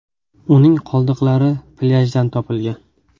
Uning qoldiqlari plyajdan topilgan.